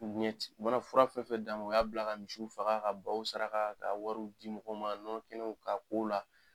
u mana fura fɛn fɛn d'a ma u y'a bila ka misiw faga ka baw saraka ka wari di mɔgɔw ma nɔnɔ kɛnɛw ka ko o la